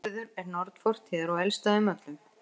Urður er norn fortíðar og elst af þeim öllum.